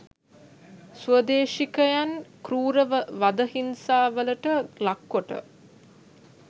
ස්වදේශිකයින් කෲර වද හිංසාවලට ලක් කොට